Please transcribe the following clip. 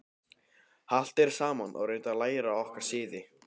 Haltu þér saman og reyndu að læra okkar siði.